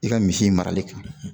I ka misi marali ka